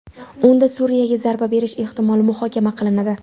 Unda Suriyaga zarba berish ehtimoli muhokama qilinadi.